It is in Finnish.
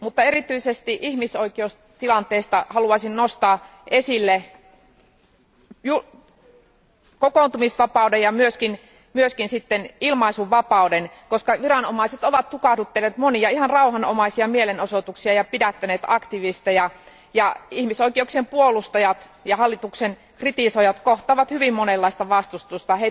Erityisesti ihmisoikeustilanteesta haluaisin nostaa esille kokoontumisvapauden ja myös ilmaisuvapauden, koska viranomaiset ovat tukahduttaneet monia ihan rauhanomaisia mielenosoituksia ja pidättäneet aktivisteja, ja ihmisoikeuksien puolustajat ja hallituksen kritisoijat kohtaavat hyvin monenlaista vastustusta.